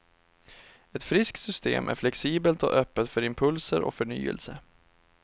Ett friskt system är flexibelt och öppet för impulser och förnyelse.